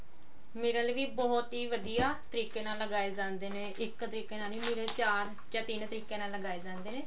ਮਿਰਲ ਵੀ ਬਹੁਤ ਹੀ ਵਧੀਆ ਤਰੀਕੇ ਨਾਲ ਲਗਾਏ ਜਾਂਦੇ ਨੇ ਇੱਕ ਤਰੀਕੇ ਨਾਲ ਨੀ ਮਿਰਲ ਚਾਰ ਜਾਂ ਤਿੰਨ ਤਰੀਕਿਆ ਨਾਲ ਲਗਾਏ ਜਾਂਦੇ ਨੇ